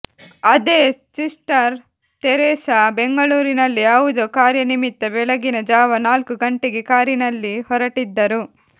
ಅದೇ sister Teresa ಬೆಂಗಳೂರಿನಲ್ಲಿ ಯವುದೋ ಕಾರ್ಯ ನಿಮಿತ್ತ ಬೆಳಗಿನ ಜಾವ ನಾಲ್ಕು ಗಂಟೆಗೆ ಕಾರಿನಲ್ಲಿ ಹೊರಟಿದ್ದರು